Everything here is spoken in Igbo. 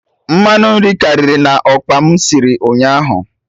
Mmanụ nri karịrị na okpa m sịrị ụnyaahụ